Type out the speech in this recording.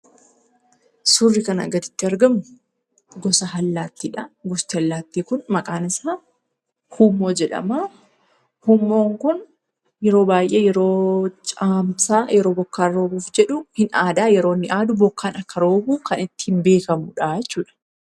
Suurri kanaa gaditti argamu, gosa allaattiidha. Gosti allaattii kun maqaan isaa huummoo jedhama. Huummoon kun yeroo baayyee yeroo caamsaa yeroo bokkaan roobuuf jedhu ni aada yeroo inni aadu bokkaan akka roobu kan ittiin beekkamudha jechuudha.